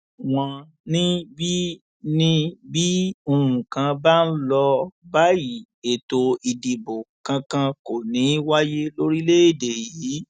wọn ní bí ní bí nǹkan bá ń lọ báyìí ètò ìdìbò kankan kò ní í wáyé lórílẹèdè yìí